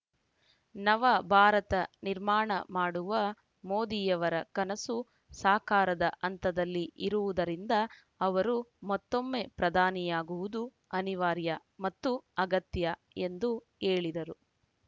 ನವಭಾರತ ನಿರ್ಮಾಣ ಮಾಡುವ ಮೋದಿಯವರ ಕನಸು ಸಾಕಾರದ ಹಂತದಲ್ಲಿ ಇರುವುದರಿಂದ ಅವರು ಮತ್ತೊಮ್ಮೆ ಪ್ರಧಾನಿಯಾಗುವುದು ಅನಿವಾರ್ಯ ಮತ್ತು ಅಗತ್ಯ ಎಂದು ಹೇಳಿದರು